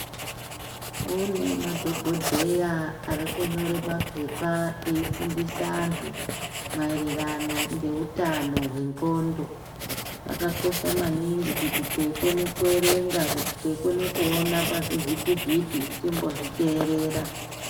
Kune madhogodheya ari kunyore mapepa eifundisa antu maererano ngeutano hwendxondo. Zvakakosha maningi kuti teikone kuverenga teikona kuzvivhiti-vhiti timbo zviterera.